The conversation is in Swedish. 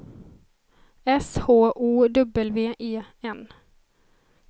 S H O W E N